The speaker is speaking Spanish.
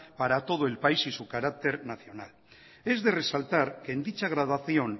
para todo el país y su carácter nacional es de resaltar que en dicha graduación